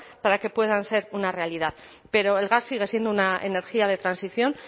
para que puedan ser una realidad pero el gas sigue siendo una energía de transición